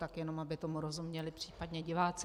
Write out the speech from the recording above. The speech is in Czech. Tak jenom aby tomu rozuměli případně diváci.